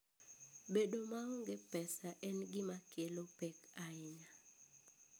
Bedo maonge pesa en gima kelo pek ahinya.